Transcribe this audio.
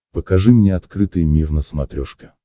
покажи мне открытый мир на смотрешке